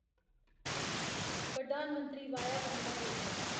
Pradhan Mantri Vaya Vandana Yojana